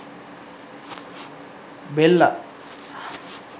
bella